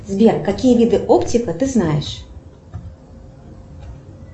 сбер какие виды оптика ты знаешь